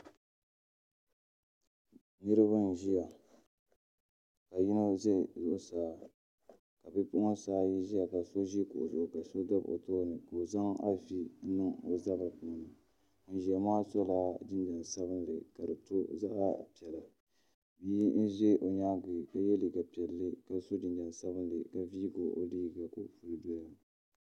Niraba n ʒiya ka yino ʒɛ zuɣusaa ka bipuɣunsi ayi ʒɛya ka so ʒi kuɣu zuɣu ka so dabi o tooni ka o zaŋ afi niŋ o zabiri puuni ŋun ʒiya kaa sola jinjɛm sabinli ka di to zaɣ piɛla bia n ʒɛ o nyaangi ka yɛ liiga piɛlli ka so jinjɛm sabinli ka viigi o liiga ka o puli doya